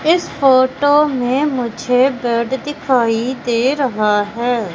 इस फोटो में मुझे बेड दिखाई दे रहा है।